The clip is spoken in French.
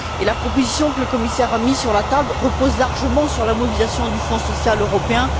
Et la proposition que le commissaire a mise sur la table repose largement sur la mobilisation du Fonds social européen.